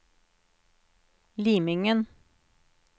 Limingen